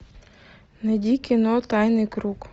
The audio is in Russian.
найди кино тайный круг